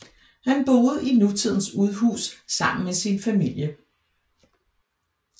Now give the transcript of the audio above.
Han boede i nutidens udhus sammen med sin familie